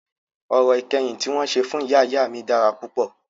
Orò ìkẹyìn tí wọn ṣe fún ìyá ìyá mí dára púpọ̀.